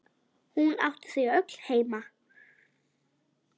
Hún átti þau öll heima.